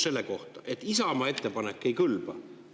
Tehti otsus, et Isamaa ettepanek ei kõlba.